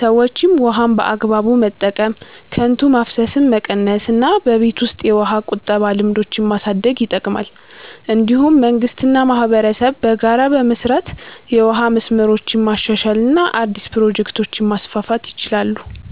ሰዎችም ውሃን በአግባቡ መጠቀም፣ ከንቱ ማፍሰስን መቀነስ እና በቤት ውስጥ የውሃ ቁጠባ ልምዶችን ማሳደግ ይጠቅማል። እንዲሁም መንግስት እና ማህበረሰብ በጋራ በመስራት የውሃ መስመሮችን ማሻሻል እና አዲስ ፕሮጀክቶችን ማስፋፋት ይችላሉ።